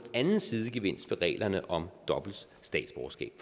anden sidegevinst ved reglerne om dobbelt statsborgerskab